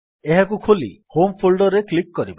ଏହାକୁ ଖୋଲି home folder ରେ କ୍ଲିକ୍ କରିବା